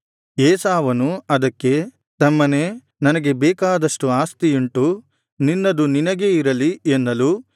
ಏಸಾವನು ಅದಕ್ಕೆ ತಮ್ಮನೇ ನನಗೆ ಬೇಕಾದಷ್ಟು ಆಸ್ತಿಯುಂಟು ನಿನ್ನದು ನಿನಗೇ ಇರಲಿ ಎನ್ನಲು